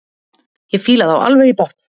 Ég fíla þá alveg í botn.